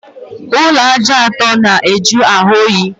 Ụlọ ájá ọtọ na ajụ ahụ oyi